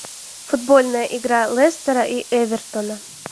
футбольная игра лестера и эвертона